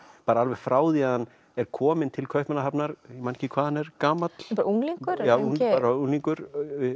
bara alveg frá því að hann er kominn til Kaupmannahafnar ég man ekki hvað hann er gamall bara unglingur unglingur unglingur